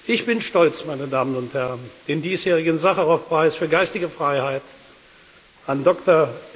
justice. Ich bin stolz, meine Damen und Herren, den diesjährigen Sacharow Preis für geistige Freiheit